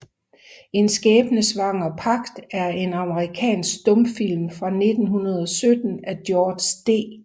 En skæbnesvanger Pagt er en amerikansk stumfilm fra 1917 af George D